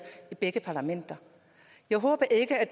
i begge parlamenter jeg håber ikke at